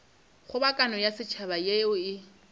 kgobokano ya setšhaba yeo e